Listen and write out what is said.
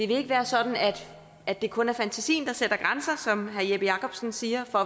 vil være sådan at det kun er fantasien der sætter grænser som herre jeppe jakobsen siger for